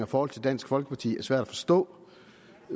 forhold til dansk folkeparti er svært at forstå